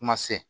Kuma se